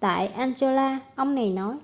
tại angola ông này nói